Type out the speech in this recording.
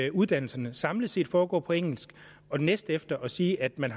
at uddannelserne samlet set foregår på engelsk og næstefter at sige at man